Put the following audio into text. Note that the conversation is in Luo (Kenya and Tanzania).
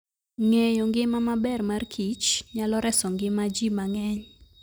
Ng'eyo ngima maber mar Kich nyalo reso ngima ji mang'eny.